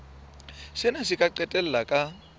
sena se ka qetella ka